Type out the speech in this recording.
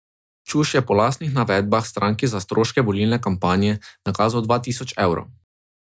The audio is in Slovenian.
Čuš je po lastnih navedbah stranki za stroške volilne kampanje nakazal dva tisoč evrov.